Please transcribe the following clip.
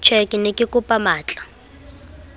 tjhee ke ne kekopa matlaa